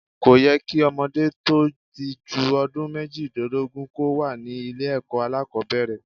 Kò yẹ kí ọmọdé tó ti ju ọdún méjìlélógún kò wà ní ilé ẹ̀kọ́ alákòbẹ̀rẹ̀.